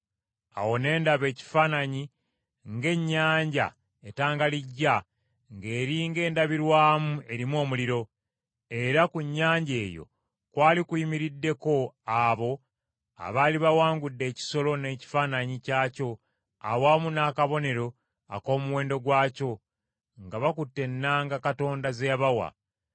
Awo ne ndaba ekifaanana ng’ennyanja etangalijja ng’eri ng’endabirwamu erimu omuliro, era ku nnyanja eyo kwali kuyimiriddeko abo abaali bawangudde ekisolo n’ekifaananyi kyakyo awamu n’akabonero ak’omuwendo gwakyo, nga bakutte ennanga Katonda ze yabawa.